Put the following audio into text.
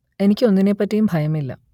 എനിക്ക് ഒന്നിനെപ്പറ്റിയും ഭയമില്ല